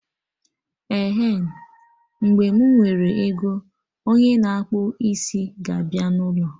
Ehen, mgbe mụ nwere ego, onye na akpụ isi ga abịa n'ụlọ